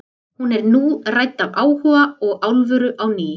Hún er nú rædd af áhuga og alvöru á ný.